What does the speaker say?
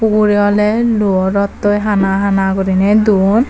uree ole luo rotoi hana hana gurine don.